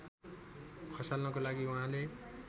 खसाल्नको लागि उहाँले